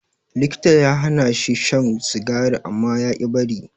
Likita ya hanashi shan sigari amma yaƙi bari.